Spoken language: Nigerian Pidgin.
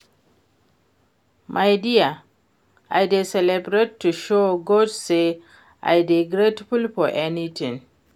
My dear, I dey celebrate to show God say I dey grateful for everything